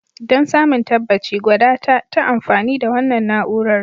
Don samun tabbaci, gwada ta ta amfani da wannan na'urar.